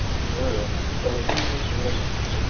উম, কেনেকে instruments